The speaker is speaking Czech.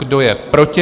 Kdo je proti?